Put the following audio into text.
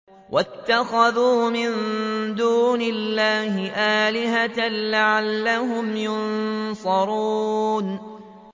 وَاتَّخَذُوا مِن دُونِ اللَّهِ آلِهَةً لَّعَلَّهُمْ يُنصَرُونَ